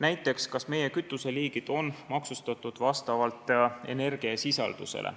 Näiteks, kas meie kütuseliigid on maksustatud vastavalt energiasisaldusele.